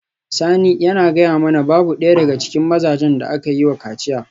Sani yana gaya mana babu daya daga cikin mazajen da aka yi wa kaciya